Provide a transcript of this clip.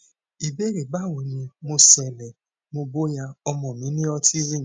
ìbéèrè báwo ni mo ṣe lè mọ bóyá ọmọ mi ní autism